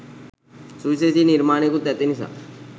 සුවි‍ශේෂ නිර්මාණයකුත් ඇතිනිසා.